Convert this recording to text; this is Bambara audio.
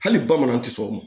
Hali bamanan ti sɔn o ma